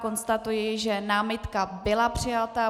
Konstatuji, že námitka byla přijata.